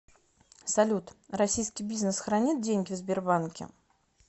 салют российский бизнес хранит деньги в сбербанке